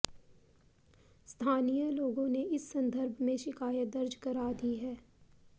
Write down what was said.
स्थानीय लोगों ने इस संदर्भ में शिकायत दर्ज करा दी है